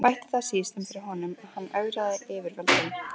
Bætti það síst um fyrir honum, að hann ögraði yfirvöldum.